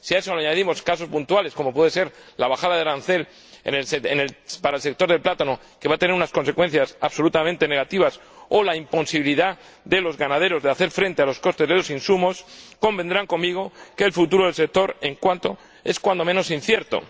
Si a eso le añadimos casos puntuales, como puede ser la bajada del arancel para el sector del plátano, que va a tener unas consecuencias absolutamente negativas, o la imposibilidad de los ganaderos de hacer frente a los costes de los insumos, ustedes convendrán conmigo que el futuro en el sector en cuestión es cuando menos incierto.